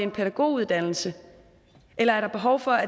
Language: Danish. en pædagoguddannelse eller er der behov for